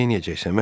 Neyləyəcəksən?